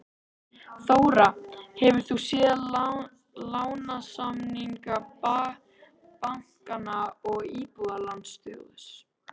Þóra: Hefur þú séð lánasamninga bankanna og Íbúðalánasjóðs?